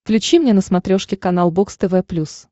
включи мне на смотрешке канал бокс тв плюс